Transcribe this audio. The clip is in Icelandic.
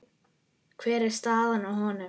Hver er staðan á honum?